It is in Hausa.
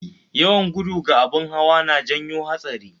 Yawan gudu ga abun hawa na janyo hatsari